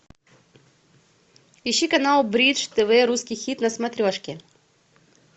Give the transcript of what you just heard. ищи канал бридж тв русский хит на смотрешке